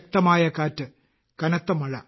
ശക്തമായ കാറ്റ് കനത്ത മഴ